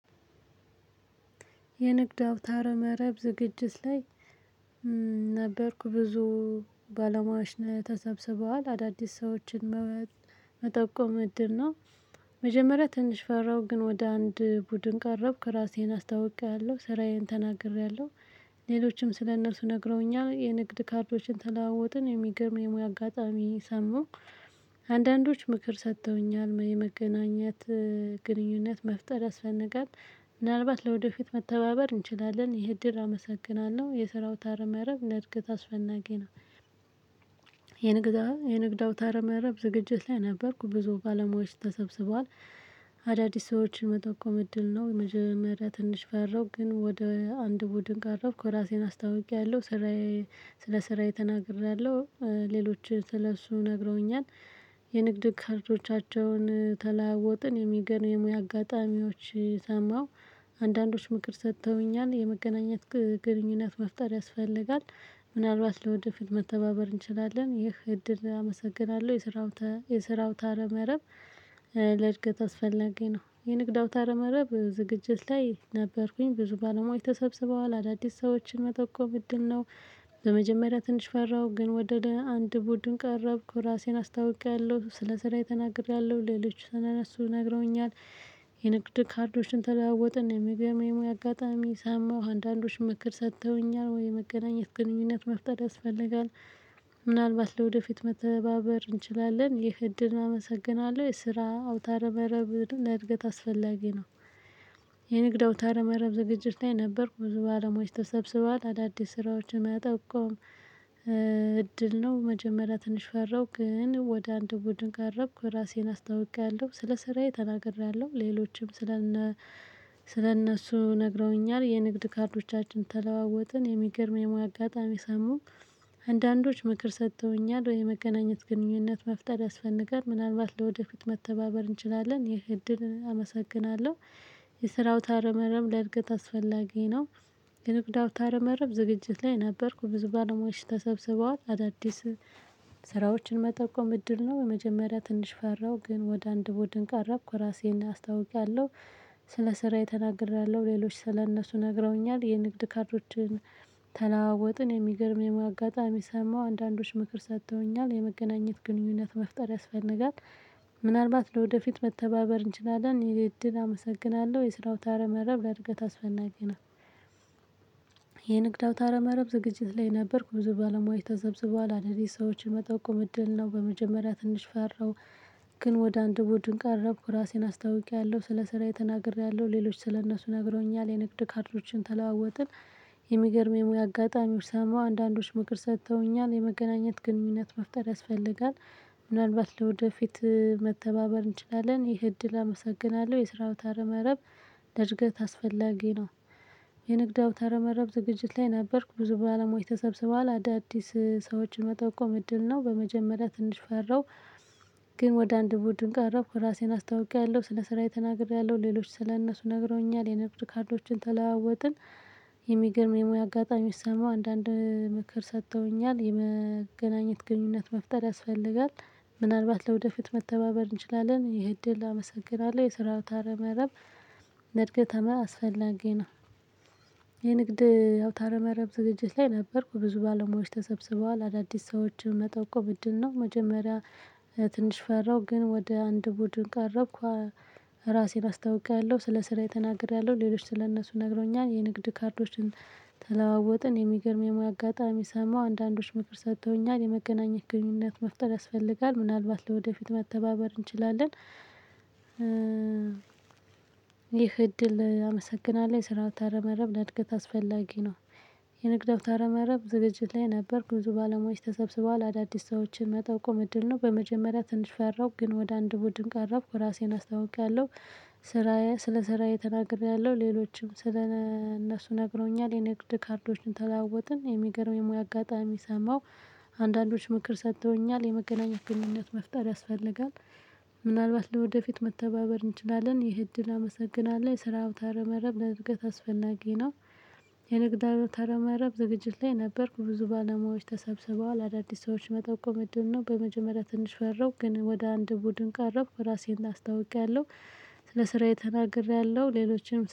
የንግድ አውታር መረብ ዝግጅት ላይ ነበርኩ ብዙ ባለሟያዎች ተሰብስበዋል አዳዲስ ሰዎችን መጠቆም እድል ነው። መጀመሪያ ትንሽ ፈራው ግን ወደ አንድ ቡድን ቀረብኩ ራሴን አስታውቄያለሁ ስራዬን ተናግሬያለሁ። ሌሎችም ስለእነርሱ ነግረውኛል የንግድ ካርዶችን ተለዋወጥን የሚገርም የሙያ አጋጣሚ ሰማው። አንዳንዶች ምክር ሰጥተውኛል የመገናኘት ግንኙነት መፍጠር ያስፈልጋ ምናልባት ለወደፊት መተባበር እንችላለን። ይሄ እድር አመሰግናለሁ የስራ አውታር መረብ ለእድገት አስፈላጊ ነው። የንግድ የንግድ አውታር መረብ ዝግጅት ላይ ነበርኩ ብዙ ባለሙያዎች ተሰብስበዋል። አዳዲስ ሰዎችን መጠቆም እድል ነው መጀመሪያ ትንሽ ፈራው ግን ወደ አንድ ቡድን ቀረብኩ ራሴን አስተዋውቂያለሁ ስራዬ ስለ ስራዬ ተናግሬያለሁ ሌሎችንስለእሱ ነግረውኛል። የንግድ ካርዶቻቸውን ተለዋወጥን የሚገርም የሙያ አጋጣሚዎች ሰማሁ አንዳንዶች ምክር ሰጥተውኛል የመገናኘት ግንኙነት መፍጠር ያስፈልጋል። ምናልባት ለወደፊት መተባበር እንችላለን ይህ እድል አመሰግናለሁ የስራው የስራ አውታር መረብ ለእድገት አስፈለጊ ነው። የንግድ አውታርመረብ ዝግጅት ላይ ነበርኩኝ ብዙ ባለሙያዎች ተሰብስበዋል አዳዲስ ሰዎችን መጠቆም እድል ምንድነው? በመጀመሪያ ትንሽ ፈራሁ ግን ወደ አንድ ቡድን ቀረብኩ ራሴን አስታውቄያለሁ ስለ ስራዬ ተናግሪያለሁ ሌሎች ስለነሱ ነግረውኛል። የንግድ ካርዶችን ተለዋወጥን የሚገርም የሙያ አጋጣሚ ሳማሁ አንዳንዶች ምክር ሰጥተውኛል ወይ መገናኘት ግንኙነት መፍጠር ያስፈልጋል። ምናልባት ለወደፊት መተባበር እንችላለን ይህ እድል አመሰግናለሁ የስራ አውታር መረብ ለእድገት አስፈላጊ ነው። የንግድ አውታ መረብ ዝግጅት ላይ ነበርኩ ብዙ ባለሙያዎች ተሰብስበዋል አዳዲስ ስራዎችን መጠቆም። እድል ነው መጀመሪያ ትንሽ ፈራው ግን ወደ አንድ ቡድን ቀረብኩ ራሴን አስተዋውቂያለሁ ስለ ስራዬ ተናግሬያለሁ ሌሎችም ስለ ስለ እነሱ ነግረውኛል የንግድ ካርዶቻችን ተለዋወጥን የሚገርም የሙያ አጋጣሚ ሰማው። አንዳንዶች ምክር ሰጥተውኛል ወይ መገናኘት ግንኙነት መፍጠር ያስፈልጋል ምናልባት ለወደፊት መተባበር እንችላለን ይህ እድል አመሰግናለሁ የስራ አውታር መረብ ለእድገት አስፈላጊ ነው። የንግድ አውታር መረብ ዝግጅት ላይ ነበርኩ ብዙ ባለሙያዎች ተሰብስበዋል አዳዲስ ስራዎችን መጠቆም እድል ነው መጀመሪያ ትንሽ ፈራሁ ግን ወደ አንድ ቡድን ቀረብኩ ራሴን አስተዋውቂያለሁ። ስለ ስራዬ ተናግሪያለሁ ሌሎች ስለእነሱ ነግረውኛል የንግድ ካርዶችን ተለዋወጥን የሚገርም የሙያ አጋጣሚ ሰማሁ አንዳንዶች ምክር ሰጥተውኛል የመገናኘት ግንኙነት መፍጠር ያስፈልጋል። ምናልባት ለወደፊት መተባበር እንችላለን የእድል አመሰግናለሁ የስራ አውታር መረብ ለእድገት አስፈላጊ ነው። የንግድ አው ታረ መረብ ዝግጅት ላይ ነበርኩ ብዚ ባለሙያዎች ተሰብስቧል አዳዲስ ሰዎችን መጠቆም እድል ነው በመጀመሪያ ትንሽ ፈራው። ግን ወደ አንድ ቡድነ ቀረብኩ ራሴን አስተዋውቂያለሁ ስለ ስራዬ ተናግሬያለሁ ሌሎች ስለእነሱ ነግሮኛል የንግድ ካርዶችን ተለዋወጥን። የሚገርም የሙያ አጋጣሚዎች ሰማው አንዳንዶች ምክር ሰጥተውኛል የመገናኘት ግንኙነት መፍጠር ያስፈልጋል። ምናልባት ለወደፊት መተባበር እንችላለን ይህ እድል አመሰግናለሁ የስራ አው ተረመረብ እድገት አስፈላጊ ነው። የንግድ አውታር መረብ ዝግጅት ላይ ነበርኩ ብዙ ባለሙያዎች ተሰብስበዋል አዳዲስ ሰዎችን መጠቆም እድል ነው በመጀመሪያ ትንሽ ፈራው። ግን ወደ አንድ ቡድን ቀረብኩ ራሴን አስታውቂያለሁ ስለ ስራዬ ተናግሬያለሁ ሌሎች ስለእነሱ ነግረውኛል የንግድ ካርዶችን ተለዋወጥን። የሚገርም የሙያ አጋጣሚ ሰማው አንዳንድ ምክር ሰጥተውኛል የመገናኘት ግንኙነት መፍጠር ያስፈልጋል። ምናልባት ለወደፊት መተባበር እንችላለን የእድል አመሰግናለሁ የስራው ታረመረብ ለእድገት አስፈላጊ ነው። የንግድ አው ታረመረብ ዝግጅት ላይ ነበርኩ ብዙ ባለሙያዎች ተሰብስበዋል አዳዲስ ሰዎችን መጠቆም እድል ነው መጀመሪያ ትንሽ ፈራሁ ግን ወደ አንድ ቡድን ቀረብኩ። ራሴን አስታውቂያለሁ ስለ ስራዬ ተናግሬያለሁ ሌሎች ስለ እነሱ ነግሮኛል የንግድ ካርዶችን ተለዋወጥን የሚገርም የሙያ አጋጣሚ ሰማሁ አንዳንዶች ምክር ሰጥተውኛል የመገናኘት ግንኙነት መፍጠር ያስፈልጋል ምናልባት ለወደፊት መተባበር እንችላለን። ይህ እድል አመሰግናለሁ የስራአው ታረመረብ ለእድገት አስፈላጊ ነው። የንግድ አውታ መረብ ዝግጅት ላይ ነበርኩ ብዙ ባለሙያዎች ተሰብስበዋል አዳዲስ ሰዎችን መጠቆም እድል ነው በመጀመሪያ ትንሽ ፈራሁ ግን ወደ አንድ ቡድን ቀረብኩ ራሴን አስታውቂያለሁ። ስራዬ ስለ ስራዬ ተናግሬያለሁ ሌሎችም ስለ እነሱ ነግሮኛል የ ንግድ ካርዶችን ተለዋወጥን የሚገርም የሙያ አጋጣሚ ሰማሁ። አንዳንዶች ምክር ሰጥተውኛል የመገናኘት ግንኙነት መፍጠር ያስፈልጋል። ምናልባት ለወደፊት መተባበር እንችላለን ይህ እድል አመሰግናለሁ የስራአው ታረ መረብ ለእድገት አስፈላጊ ነው። የንግድ አውታረ መረብ ዝግጅት ላይ ነበርኩ ብዙ ባለሙያዎች ተሰብስበዋል አዳዲስ ሰዎች መጠቆም እድል ነው በመጀመሪያ ትንሽ ፈራሁ ግን ወደ አንድ ቡድን ቀረብ ራሴን አስታውቄያለሁ ስለ ስራዬ ተናግሬያለሁ ሌሎችም